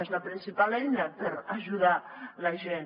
és la principal eina per ajudar la gent